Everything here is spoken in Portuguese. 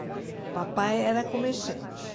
O papai era comerciante.